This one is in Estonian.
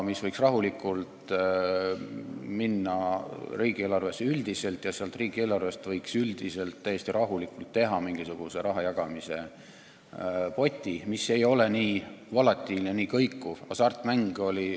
See võiks rahulikult üldiselt riigieelarvesse minna ja võiks üldiselt, täiesti rahulikult teha mingisuguse riigieelarvest raha jagamise poti, mis ei ole nii volatiilne, nii kõikuv.